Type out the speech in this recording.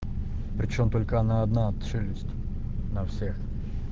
почём только она одна челюсть на всех